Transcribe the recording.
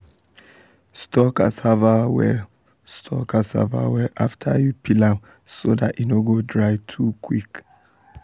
store cassava well store cassava well after you peel am so dat e no go dry too quick.